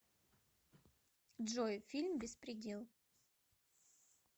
джой фильм беспредел